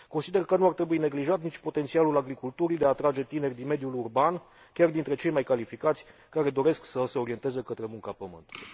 Consider că nu ar trebui neglijat nici potențialul agriculturii de a atrage tineri din mediul urban, chiar dintre cei mai calificați, care doresc să se orienteze către munca pământului.